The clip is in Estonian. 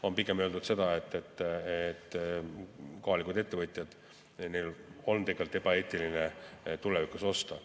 On pigem öeldud, et kohalikel ettevõtjatel on ebaeetiline tulevikus osta.